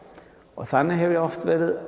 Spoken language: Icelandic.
og þannig hef ég oft verið